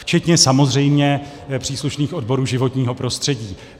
Včetně samozřejmě příslušných odborů životního prostředí.